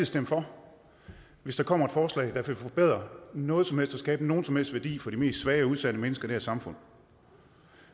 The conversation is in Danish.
stemme for hvis der kommer et forslag der vil forbedre noget som helst og skabe nogen som helst værdi for de mest svage og udsatte mennesker i det her samfund